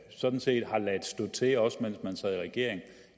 sådan set har ladet stå til også mens man sad i regering